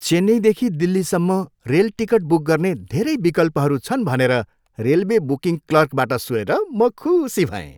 चेन्नईदेखि दिल्लीसम्म rail ticket book गर्ने धेरै विकल्पहरू छन् भनेर रेलवे बुकिङ क्लर्कबाट सुनेर म खुसी भएँ।